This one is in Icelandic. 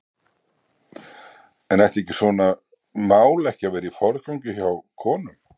En ætti svona mál ekki að vera í forgangi hjá konum?